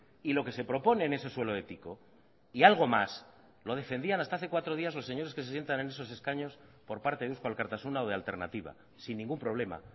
y lo que se propone en ese suelo ético y algo más lo defendían hasta hace cuatro días los señores que se sientan en esos escaños por parte de eusko alkartasuna o de alternatiba sin ningún problema